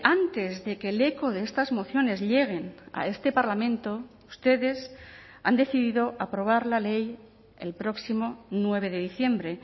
antes de que el eco de estas mociones lleguen a este parlamento ustedes han decidido aprobar la ley el próximo nueve de diciembre